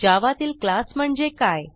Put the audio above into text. जावा तील क्लास म्हणजे काय